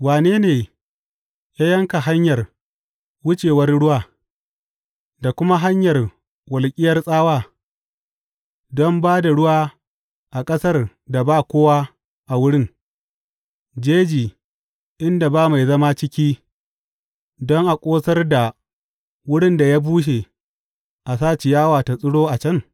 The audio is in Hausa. Wane ne ya yanka hanyar wucewar ruwa, da kuma hanyar walƙiyar tsawa don ba da ruwa a ƙasar da ba kowa a wurin jeji inda ba mai zama ciki don a ƙosar da wurin da ya bushe a sa ciyawa ta tsiro a can?